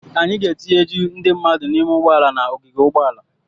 Anyị ga-etinye ju ndị mmadụ n'ime ụgbọala n'ogige ụgbọala.